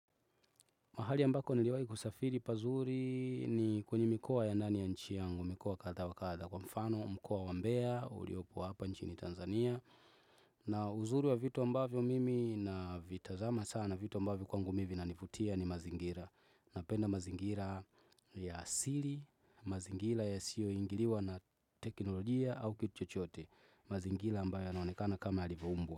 Mahali ambako niliwahi kusafiri pazuri ni kwenye mikoa ya ndani ya nchi yangu, mikoa kadha wa kadha kwa mfano, mkoa wa mbea, uliopo hapa nchini Tanzania. Na uzuri wa vitu ambavyo mimi na vitazama sana vitu ambavyo kwangu mii vinanivutia ni mazingira. Napenda mazingira ya asili, mazingira ya siyo ingiliwa na teknolojia au kitu chochote. Mazingira ambayo yanaonekana kama yalivyoumbwa.